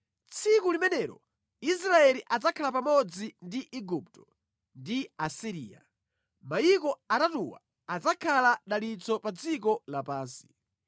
Tsiku limenelo Israeli adzakhala pamodzi ndi Igupto ndi Asiriya, mayiko atatuwa adzakhala dalitso pa dziko lapansi.